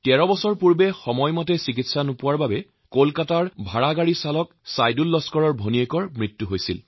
১৩ বছৰ মান আগতে চিকিৎসাৰ অভাৱত কলকাতাৰ টেক্সীচালক ছাইদুল লস্কৰৰ ভনীয়েকৰ মৃত্যু হৈছিল